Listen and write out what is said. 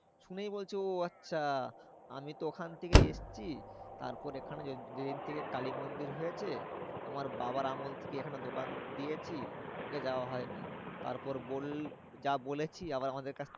শুনেই বলছে ও আচ্ছা, আমি তো ওখান থেকেই এসেছি। তারপরে এখানে যেদিন থেকে কালী মন্দির হয়েছে। আমার বাবার আমল থেকে এখানে দোকান দিয়েছি। যাওয়া হয় না, তারপর বল যা বলেছি আবার আমাদের কাছ থেকে